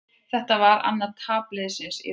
Þetta var annað tap liðsins í röð.